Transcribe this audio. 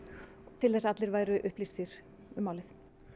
til þess að allir væru upplýstir um málið